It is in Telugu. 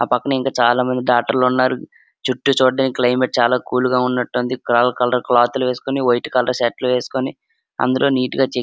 ఆ పక్కనే ఇంకా చాలా మంది డాక్టర్ లు ఉన్నారు చుట్టూ చూడ్డానికి క్లైమేట్ చాలా కూల్ గా ఉన్నట్టుంది కలర్ కలర్ క్లాత్ లు ఏసుకొని వైట్ కలర్ షర్ట్ లు వేసుకొని అందరూ నీట్ గా చి --